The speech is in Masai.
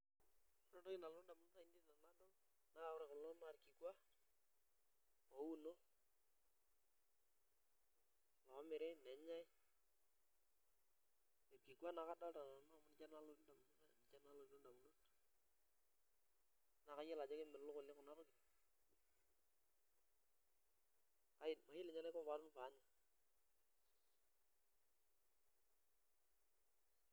Ore entoki nalotu ndamunot ainei enadol naa ore kulo naa orkikuak oouno omiri nenyai irkikuan ake adolta nanu amu ninche naa lotii ndamunot ainei nalotu ndamunot naa kayiolo ajo kemelok oleng' kuna tokitin mayiolo ninye enaiko paatum pee anya.